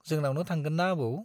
जोंनावनो थांगोन ना आबौ ?